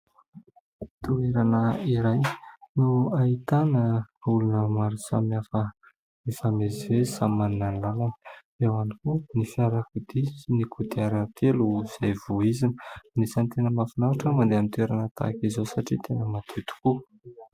Toerana iray no ahitana olona maro samy hafa mifamezivezy, samy manana ny lalana, eo ihany koa ny fiarakodia sy ny kodiaran-telo izay voizina ; anisany tena mahafinaritra ny mandeha ny toerana tahaka izao satria tena madio tokoa.